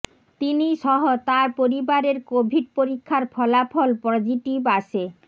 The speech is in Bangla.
তিনি সহ তাঁর পরিবারের কোভিড পরীক্ষার ফলাফল পজিটিভ আসে